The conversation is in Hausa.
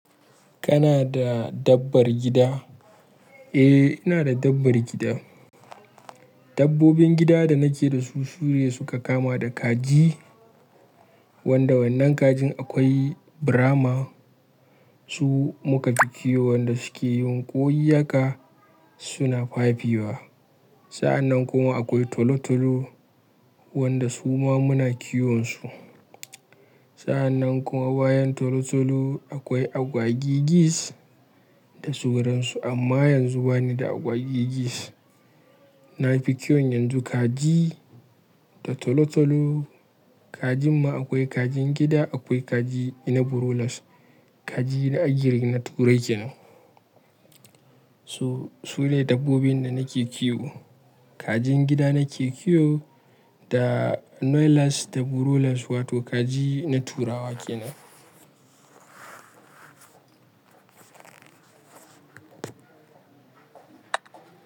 Kana da dabbar gida? Eh, ina da dabbar gida. Dabbobin gida da nake da su, sune su ka kama da kaji wanda wannan kajin akwai Brahma. Su muka fi kiwo, wanda suke yin koyi haka suna fa fi wa. Sa'annan kuma akwai tolo tolo wanda su ma muna kiwon su. Sa'annan kuma bayan tolo tolo akwai agwagigis da su ransu. Amma yanzu ba ni da agwagigis. Na fi kiwon yanzu kaji da tolo tolo. Kajin ma akwai kajin gida akwai kaji na broilers, kaji na agiri na turai kenan. So, su ne dabbobin da nake kiwo. Kajin gida nake kiwo da noiseless da broilers wato kaji na turawa kenan.